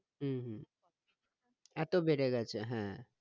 হম হম এতো বেড়ে গেছে হ্যাঁ